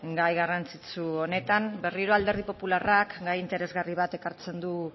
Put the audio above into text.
gai garrantzitsu honetan berriro alderdi popularrak gai interesgarri bat ekartzen du